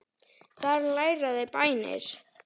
Þar læra þau bænir.